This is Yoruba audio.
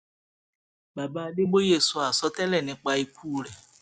baba adébóye sọ àsọtẹlẹ nípa ikú rẹ